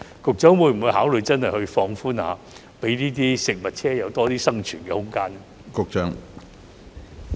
局長會否考慮放寬一下，讓美食車有多點生存空間呢？